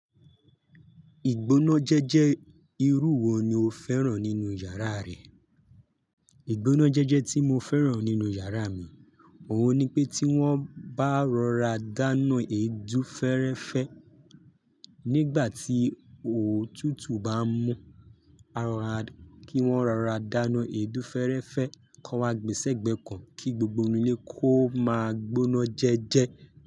Ìgbónájẹjẹ́ irú wo ni o fẹ́ràn nínú yàrá rẹ? Ìgbónájẹjẹ́ tí mo fẹ́ràn nínú yàrá mi òun ni pé tí wọ́n bá rọra dáná èédú fẹ́rẹ́fẹ́ nígbà tí òtútù bá ń mú, kí wọ́n rọra dáná èédú fẹ́rẹ́fẹ́ kó wa gbèsè gbẹ kan kí gbogbo inú ilé kó máa gbónájẹjẹ́.